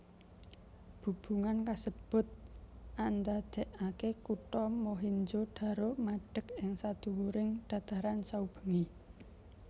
Bubungan kasebut andadèkaké kutha Mohenjo daro madeg ing sadhuwuring dhataran saubengé